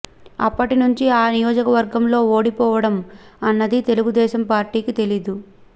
అప్పటి నుంచి ఆ నియోజకవర్గంలో ఓడిపోవడం అన్నది తెలుగుదేశం పార్టీకి తెలియదు